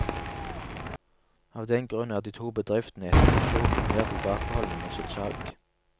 Av den grunn er de to bedriftene etter fusjonen mer tilbakeholdende med sitt salg.